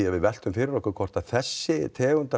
að við veltum fyrir okkur hvort þessi tegund af